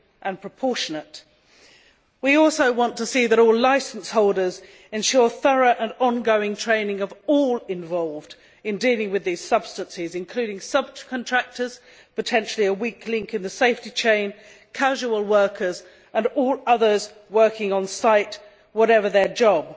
and proportionate. We also want to see that all licence holders ensure thorough and ongoing training of all involved in dealing with these substances, including subcontractors potentially a weak link in the safety chain casual workers and all others working on site, whatever their job.